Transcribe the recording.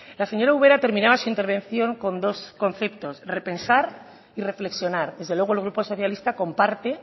la señora ubera terminaba su intervención con dos conceptos repensar y reflexionar desde luego el grupo socialista comparte